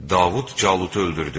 Davud Calutu öldürdü.